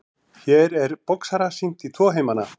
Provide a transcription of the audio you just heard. Hér er boxara sýnt í tvo heimana.